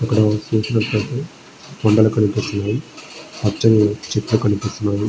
ఇక్కడ చూసినట్టు ఐతే కొండలు కనిపిస్తున్నాయి. పచ్చని చెట్లు కనిపిస్తున్నాయి.